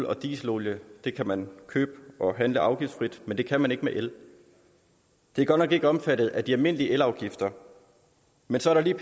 og dieselolie kan man købe handle afgiftsfrit men det kan man ikke med el det er godt nok ikke omfattet af de almindelige elafgifter men så er der